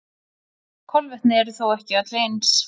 Kolvetni eru þó ekki öll eins.